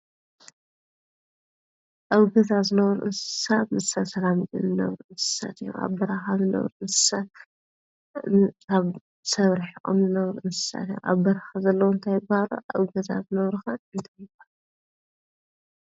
ኣብገዛዝ ነዉር እንሳብ ምስት ሰላሚት ንነውር እንሰተ ኣብበራሃብ ነውር እንሳት ብ ሰብርሕ ኦምነዉር እንሰተ ኣብ በራኸ ዘለዉ እንታይ በሃሎ ኣብገዛ ዝነዉርኸን እንተንዋል እዮም ::